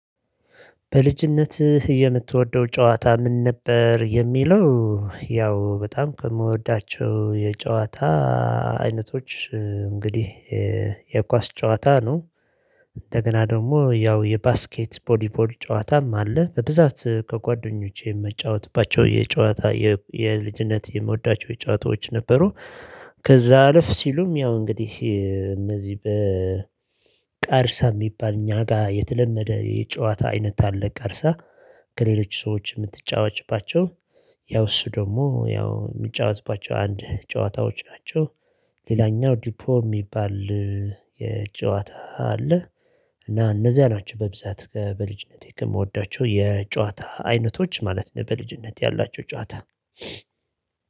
በልጅነትህ የምትወደው ጨዋታ ምን ነበር የሚለው? ያው በጣም ከምወዳቸው የጨዋታ አይነቶች እንግዲህ የኳስ ጨዋታ ነው። እንደገና ደግሞ ያው የባስኬት ቦሊቦል ጨዋታም አለ በብዛት ከጓደኞቼ ምጫወትባቸው የጨዋታ የልጅነት የምወዳቸው ጨዋታዎች ነበሩ። ከዛ አለፍ ሲሉም ያው እንግዲህ እነዚህ በቃርሳ የሚባል እኛ ጋር የተለመደ የጨዋታ አይነት አለ። ቃርሳ ከሌሎች ሰዎች ምትጫወትባቸው። ያው እሱ ደግሞ ያው የሚጫወትባቸው አንድ ጨዋታዎች ናቸው። ሌላኛው ዲፖ የሚባል። የጨዋታ አለ። እና እነዚህ ናቸው በብዛት በልጅነቴ ከምወዳቸው የጨዋታ አይነቶች ማለት ነው። በልጅነት ያላቸው ጨዋታ